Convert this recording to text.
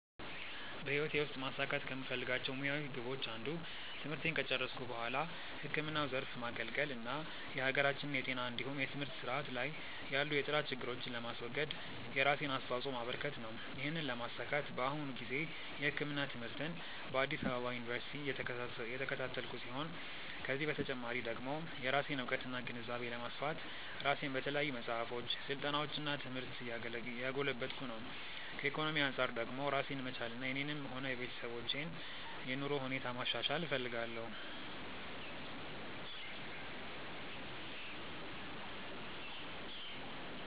በህይወቴ ውስጥ ማሳካት ከምፈልጋቸው ሙያዊ ግቦች አንዱ ትምህርቴን ከጨረስኩ በኋላ ህክምናው ዘርፍ ማገልገል እና የሀገራችንን የጤና እንዲሁም የትምህርት ስርዓት ላይ ያሉ የጥራት ችግሮችን ለማስወገድ የራሴን አስተዋጾ ማበረከት ነው። ይህንን ለማሳካት በአሁኑ ጊዜ የህክምና ትምህርትን በአዲስ አበባ ዩኒቨርሲቲ እየተከታተልኩ ሲሆን ከዚህ በተጨማሪ ደግሞ የራሴን እውቀትና ግንዛቤ ለማስፋት ራሴን በተለያዩ መጽሐፎች፣ ስልጠናዎች እና ትምህርት እያጎለበትኩ ነው። ከኢኮኖሚ አንጻር ደግሞ ራሴን መቻልና የኔንም ሆነ የቤተሰቦችን የኑሮ ሁኔታ ማሻሻል እፈልጋለሁ።